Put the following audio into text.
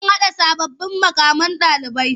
An naɗa sababbin muƙaman ɗalibai.